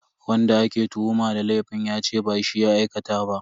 Wanda ake tuhuma da laifin yace ba shi ya aikata ba.